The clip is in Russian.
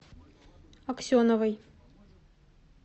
аксеновой